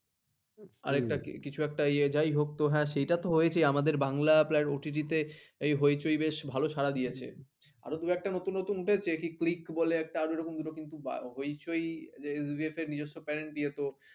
কিছু একটা ইয়ে যাই হোক হ্যাঁ সেটা তো হয়েছে আমাদের বাংলা প্রায় OTT এই হইচই বেশ ভালো সারা দিয়েছে আরো দুই একটা নতুন নতুন উঠেছে কি click বলে একটা আরো এরকম দুটো কিছু কিন্তু হইচই যে নিজস্ব parent দিয়ে তো